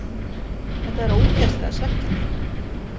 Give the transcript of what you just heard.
Þetta er ógeðslega svekkjandi.